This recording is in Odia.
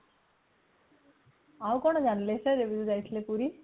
ଆଉ କଣ ଜାଣିଥିଲେ ଏବେ ଯୋଉ ଯାଇଥିଲେ ପୁରୀ